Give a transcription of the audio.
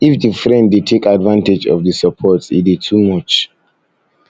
if di friend de take advantage of di support e de too much